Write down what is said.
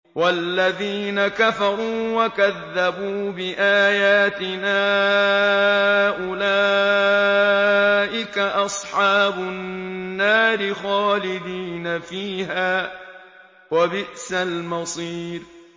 وَالَّذِينَ كَفَرُوا وَكَذَّبُوا بِآيَاتِنَا أُولَٰئِكَ أَصْحَابُ النَّارِ خَالِدِينَ فِيهَا ۖ وَبِئْسَ الْمَصِيرُ